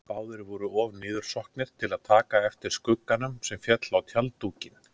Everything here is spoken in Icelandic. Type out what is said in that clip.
Báðir voru of niðursokknir til að taka eftir skugganum sem féll á tjalddúkinn.